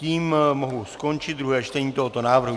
Tím mohu skončit druhé čtení tohoto návrhu.